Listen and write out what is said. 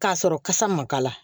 K'a sɔrɔ kasa ma k'a la